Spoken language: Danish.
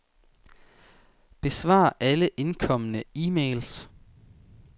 Besvar alle indkomne e-mails.